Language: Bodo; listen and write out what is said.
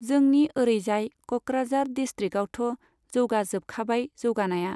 जोंनि ओरैजाय क'क्राझार दिसट्रिक्टआवथ' जौगाजोबखाबाय जौगानाया।